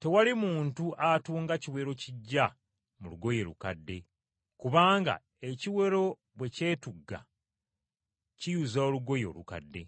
“Tewali muntu atunga kiwero kiggya mu lugoye lukadde, kubanga, ekiwero bwe kyetugga kiyuza olugoye olukadde,